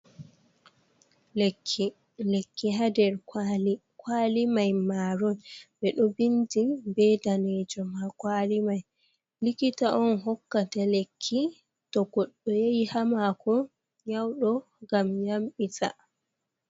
Lekki haa nder kwaali, kwaali may maaron, ɓe ɗo binndi bee daneejum haa kwaali may, likita on hokkata lekki to goɗɗo yahi haa maako nyaawɗo ngam yamɗita.